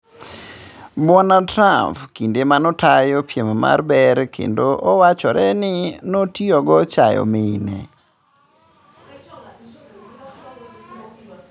(Bwana Trump kinde maneotayo piem mar ber kendo owachore ni notiyogo chayo mine).